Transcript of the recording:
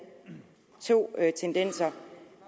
to tendenser